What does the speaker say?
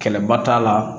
Kɛlɛba t'a la